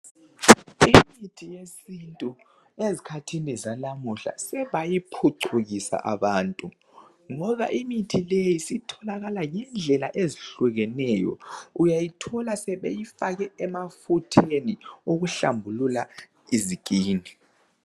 Imithi yesintu ezikhathini zalamuhla sebayiphucukisa abantu ngoba imithi leyi isitholakala ngendlela ezihlukeneyo uyayithola sebeyifake emafutheni okuhlambulula izikhumba.